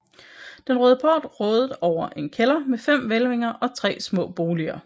Den Røde Port rådede over en kælder med fem hvælvinger og tre små boliger